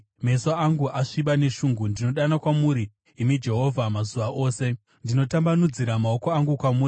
meso angu asviba neshungu. Ndinodana kwamuri, imi Jehovha, mazuva ose; ndinotambanudzira maoko angu kwamuri.